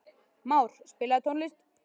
Már, spilaðu tónlist.